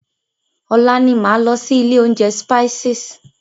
Ọ̀la ni máa lọ sí ilé oúnjẹ Spices.